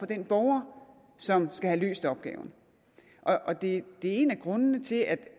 den borger som skal have løst opgaven det er en af grundene til at